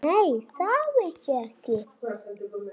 Þvílík sería sagði stúlkan aftur.